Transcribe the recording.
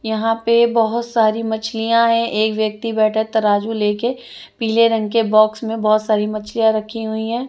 यहां पे बहुत सारी मछलियां हैं एक व्यक्ति बैठा तराजू ले के पीले रंग के बॉक्स में बहुत सारी मछलियां रखी हुई हैं।